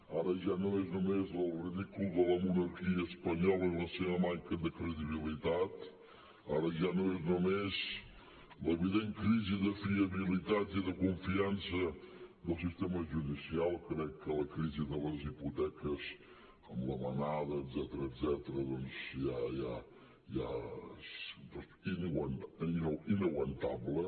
ara ja no és només el ridícul de la monarquia espanyola i la seva manca de credibilitat ara ja no és només l’evident crisi de fiabilitat i de confiança del sistema judicial crec que la crisi de les hipoteques amb la manada etcètera etcètera ja és inaguantable